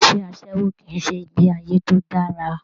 Iṣẹ asẹwo kìí ṣe ìgbé ayé tó dára.